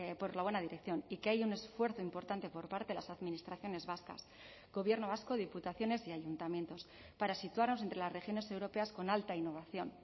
por la buena dirección y que hay un esfuerzo importante por parte de las administraciones vascas gobierno vasco diputaciones y ayuntamientos para situarnos entre las regiones europeas con alta innovación